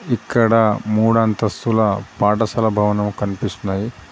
ఇక్కడ మూడు అంతస్తుల పాఠశాల భవనము కనిపిస్తున్నాయి.